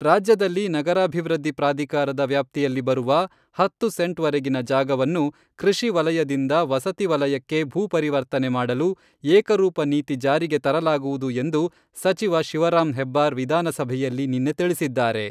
ರಾಜ್ಯದಲ್ಲಿ ನಗರಾಭಿವೃದ್ಧಿ ಪ್ರಾಧಿಕಾರದ ವ್ಯಾಪ್ತಿಯಲ್ಲಿ ಬರುವ ಹತ್ತು ಸೆಂಟ್ವರೆಗಿನ ಜಾಗವನ್ನು, ಕೃಷಿ ವಲಯದಿಂದ ವಸತಿ ವಲಯಕ್ಕೆ ಭೂ ಪರಿವರ್ತನೆ ಮಾಡಲು ಏಕರೂಪ ನೀತಿ ಜಾರಿಗೆ ತರಲಾಗುವುದು ಎಂದು ಸಚಿವ ಶಿವರಾಮ್ ಹೆಬ್ಬಾರ್ ವಿಧಾನಸಭೆಯಲ್ಲಿ ನಿನ್ನೆ ತಿಳಿಸಿದ್ದಾರೆ.